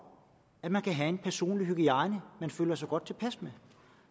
at man kan have en personlig hygiejne man føler sig godt tilpas med